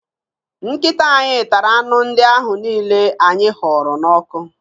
Nkịta anyị tara anụ ndị ahụ niile anyị họrọ n'ọkụ